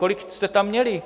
Kolik jste tam měli?